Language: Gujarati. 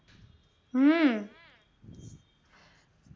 હમ